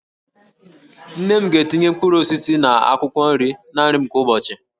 Nne m ga-etinye mkpụrụ osisi na akwụkwọ nri na nri m kwa ụbọchị